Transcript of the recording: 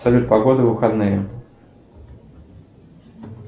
салют погода в выходные